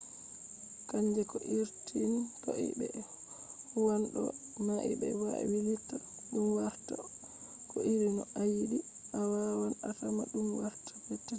kannge ko irin toi be huwan dow mai be wailita dum warta ko iri no ayidi. awawan atama dum warta petetel